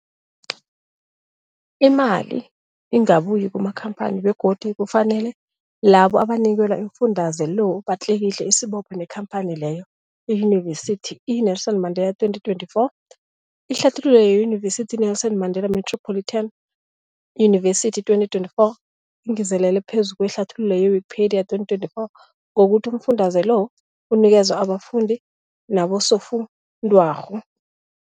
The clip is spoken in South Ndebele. Imali ingabuyi kumakhamphani begodu kufanele labo abanikelwa umfundaze lo batlikitliki isibopho neenkhamphani leyo, Yunivesity i-Nelson Mandela 2024. Ihlathululo yeYunivesithi i-Nelson Mandela Metropolitan University, 2024, ingezelele phezu kwehlathululo ye-Wikipedia, 2024, ngokuthi umfundaze lo unikelwa abafundi nabosofundwakgho.